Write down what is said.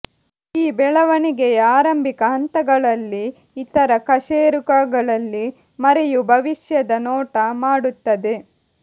ಈ ಬೆಳವಣಿಗೆಯ ಆರಂಭಿಕ ಹಂತಗಳಲ್ಲಿ ಇತರ ಕಶೇರುಕಗಳಲ್ಲಿ ಮರಿಯು ಭವಿಷ್ಯದ ನೋಟ ಮಾಡುತ್ತದೆ